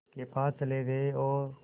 के पास चले गए और